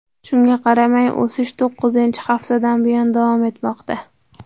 Shunga qaramay, o‘sish to‘qqizinchi haftadan buyon davom etmoqda.